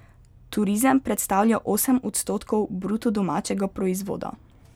Turizem predstavlja osem odstotkov bruto domačega proizvoda.